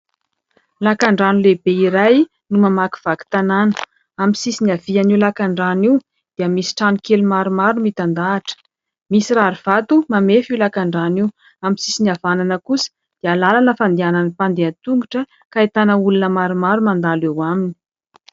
Lakandrano lehibe iray no mamakivaky tanàna. Amin'ny sisIny havian' io lakandrano io dia misy trano kely maromaro mitandahatra. Misy rarivato mamefy io lakandrano io. Amin'ny sisiny havanana kosa dia lalana fandehanan'ny mpandeha an-tongotra ka ahitana olona maromaro mandalo eo aminy.